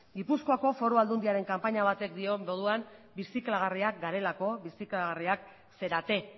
gipuzkoako foru aldundiaren kanpaina batek dioen moduan birziklagarriak garelako birziklagarriak zarete